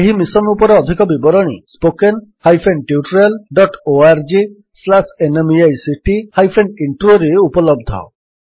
ଏହି ମିଶନ୍ ଉପରେ ଅଧିକ ବିବରଣୀ spoken hyphen tutorial dot O R G slash NMEICT hyphen Introରେ spoken tutorialorgnmeict ଇଣ୍ଟ୍ରୋ ଉପଲବ୍ଧ